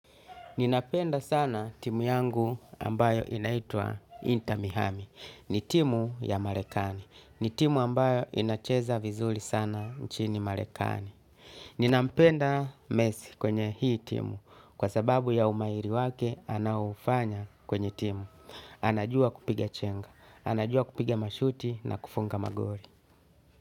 Ninapenda sana timu yangu ambayo inaitwa Inter miami. Ni timu ya Marekani. Ni timu ambayo inacheza vizuri sana nchini Marekani. Ninampenda Messi kwenye hii timu. Kwa sababu ya umahiri wake anaofanya kwenye timu. Anajua kupiga chenga. Anajua kupiga mashuti na kufunga magoli.